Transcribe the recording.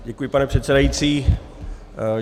Děkuji, pane předsedající.